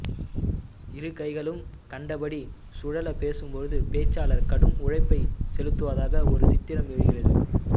இருகைகளும் கண்டபடி சுழல பேசும்போது பேச்சாளர் கடும் உழைப்பைச் செலுத்துவதாக ஒரு சித்திரம் எழுகிறது